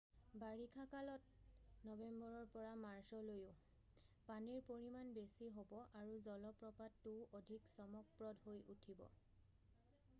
বাৰিষা কালত নৱেম্বৰৰ পৰা মাৰ্চলৈও পানীৰ পৰিমাণ বেছি হ'ব আৰু জলপ্ৰপাতটোও অধিক চমকপ্ৰদ হৈ উঠিব।